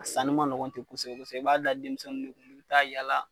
Sanni ma nɔgɔn ten kosɛbɛ kosɛbɛ i b'a da denmisɛnnuw de kun u bi taa yala